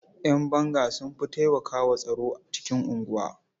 Ƴan banga sun fi taimakwa wa tsaro cikin unguwa.